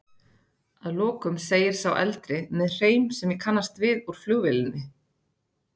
Að lokum segir sá eldri, með hreim sem ég kannast við úr flugvélinni.